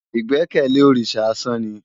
Igbèkèlé órisá ásàn ni